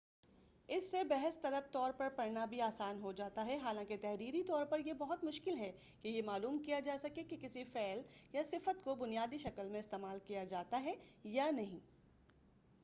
اس سے بحث طلب طور پر پڑھنا بھی آسان ہوجاتا ہے حالانکہ تحریری طور پر یہ بہت مشکل ہے کہ یہ معلوم کیا جا سکے کہ کسی فعل یا صفت کو بنیادی شکل میں استعمال کیا جاتا ہے یا نہیں